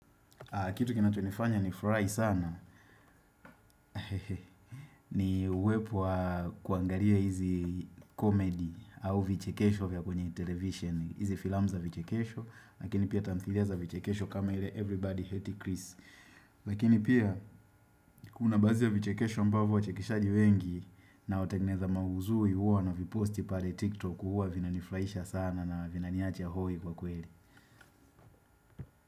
Kitu kinachonifanya nifurahi sana ni uwepo wa kuangaria hizi comedy au vichekesho vya kwenye television. Hizi filamu za vichekesho. Lakini pia tamthilia za vichekesho kama ile everybody hate Chris. Lakini pia kuna bazi ya vichekesho ambavo wachekeshaji wengi na wategeneza mauzui huwa na viposti pale tiktok huwa vinanifurahisha sana na vina niache ya hoi kwa kweli.